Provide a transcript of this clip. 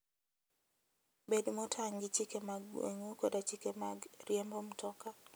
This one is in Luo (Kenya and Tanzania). Bed motang' gi chike mag gweng'u koda chike mag riembo mtoka.